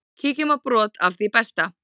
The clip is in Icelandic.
Kíkjum á brot af því besta.